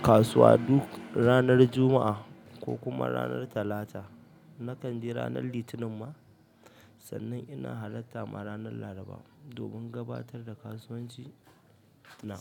kasuwa duk ranar Juma'a ko kuma ranar Talata. Nakan je ranar litinin ma sannan ina hallata ma ranar laraba domin gabatar da kasuwanci na.